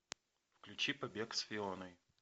включи побег с фионой